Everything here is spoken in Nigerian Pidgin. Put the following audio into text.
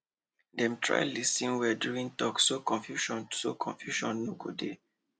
dem try lis ten well during talk so confusion so confusion no go dey